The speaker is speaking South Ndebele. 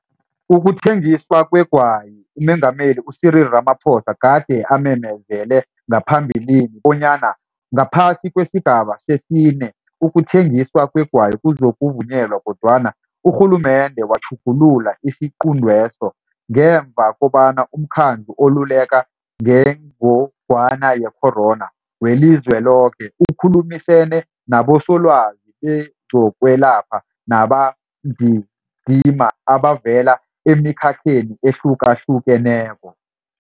Ukuthengiswa kwegwayiUMengameli u-Cyril Ramaphosa gade amemezele ngaphambilini bonyana ngaphasi kwesiGaba sesiNe, ukuthengiswa kwegwayi kuzokuvunyelwa kodwana urhulumende watjhugulula isiquntweso ngemva kobana uMkhandlu oLuleka ngeNgogwana ye-Corona weliZweloke ukhulumisene nabosolwazi bezokwelapha nababambindima abavela emikhakheni ehlukahlukeneko.